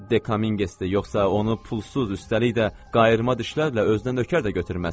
Dekamingesdir, yoxsa onu pulsuz, üstəlik də qayırma dişlərlə özünə nökər də götürməz.